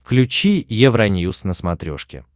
включи евроньюс на смотрешке